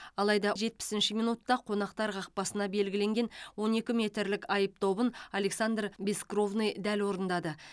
алайда жетпісінші минутта қонақтар қақпасына белгіленген он екі метрлік айып добын александр бескровный дәл орындады